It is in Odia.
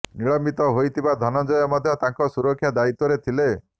ନିଲମ୍ବିତ ହୋଇଥିବା ଧନଞ୍ଜୟ ମଧ୍ୟ ତାଙ୍କ ସୁରକ୍ଷା ଦାୟିତ୍ୱରେ ଥିଲେ